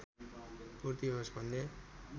पूर्ति होस् भन्ने